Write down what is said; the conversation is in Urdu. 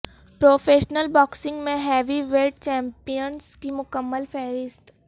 پروفیشنل باکسنگ میں ہیوی ویٹ چیمپیئنز کی مکمل فہرست